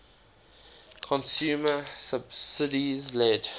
consumer subsidies led